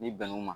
N'i bɛnn'u ma